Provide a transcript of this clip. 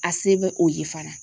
A se bɛ o ye fana